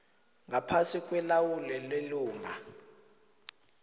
ngaphasi kwelawulo lelunga